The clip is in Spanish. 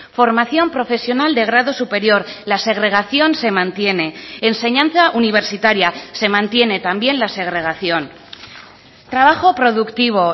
formación profesional de grado superior la segregación se mantiene enseñanza universitaria se mantiene también la segregación trabajo productivo